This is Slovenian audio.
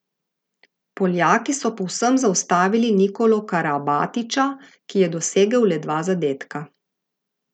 Poljaki so povsem zaustavili Nikolo Karabatića, ki je dosegel le dva zadetka.